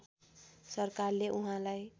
सरकारले उहाँलाई